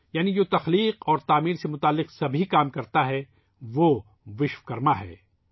یعنی جو کائانت اور تعمیر سےجڑے کام کرتاہے ، وہ وشو کرما ہے